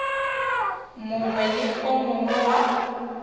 mongwe le o mongwe wa